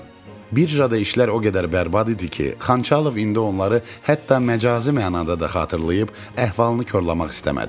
Birdə işlər o qədər bərbad idi ki, Xançalov indi onları hətta məcazi mənada da xatırlayıb əhvalını korlamaq istəmədi.